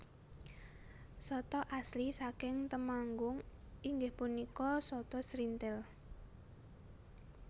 Sata asli saking Temanggung inggih punika sata srinthil